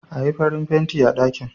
Ayi farin fenti a ɗakin